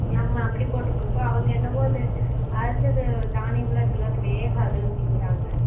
நம்ம அப்படி போட்டு குடுப்போம் அவங்க என்ன போட்டு அரைச்சது தானியம் எல்லாம் இருக்குல அது வேகாது அப்படிங்குறாங்க